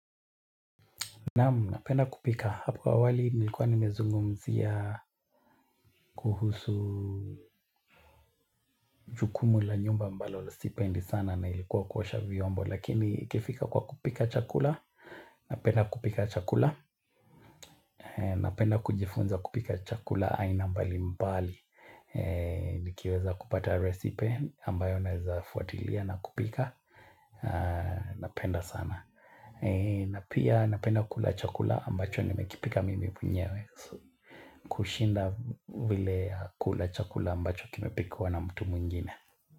Naam, napenda kupika. Hapo awali nilikuwa nimezungumzia kuhusu jukumu la nyumba ambalo sipendi sana na ilikuwa kuosha vyombo. Lakini ikifika kwa kupika chakula, napenda kupika chakula. Napenda kujifunza kupika chakula aina mbali mbali. Nikiweza kupata recipe ambayo naweza fuatilia na kupika. Napenda sana. Na pia napenda kula chakula ambacho nimekipika mimi mwenyewe. Kushinda vile kula chakula ambacho kimepikwa na mtu mwingine.